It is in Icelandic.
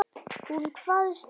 Hún kvaðst geta það.